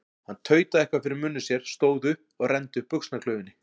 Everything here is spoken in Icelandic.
Hann tautaði eitthvað fyrir munni sér, stóð upp og renndi upp buxnaklaufinni.